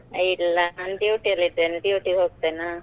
ಇಲ್ಲಾ ನಾನ್ duty ಅಲ್ಲಿದೇನೆ duty ಗೆ ಹೋಗ್ತೇನ.